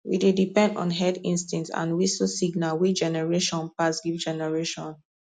we dey depend on herd instinct and whistle signal wey generation pass give generation